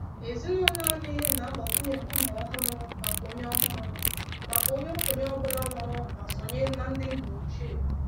Ezinụlọ anyị na-agbakwunye nkume ọhụrụ maka onye ọhụrụ maka onye okenye ọ bụla nwụrụ ma sonye na ndị nna ochie.